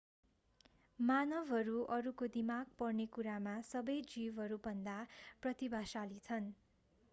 मानवहरू अरूको दिमाग पढ्ने कुरामा सबै जीवहरूभन्दा प्रतिभाशाली छन्